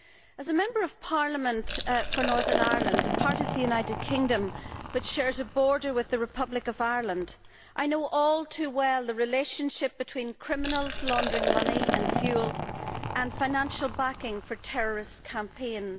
As a Member of Parliament for Northern Ireland, a part of the United Kingdom which shares a border with the Republic of Ireland, I know all too well the relationship between criminals laundering money and fuel and financial backing for terrorist campaigns.